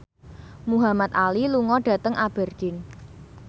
Muhamad Ali lunga dhateng Aberdeen